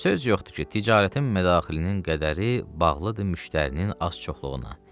Söz yoxdur ki, ticarətin mədaxilinin qədəri bağlıdır müştərinin az-çoxluğuna.